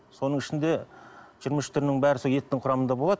соның ішінде жиырма үш түрінің бәрі сол еттің құрамында болады